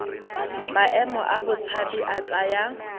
maemo a botshabi a tsaya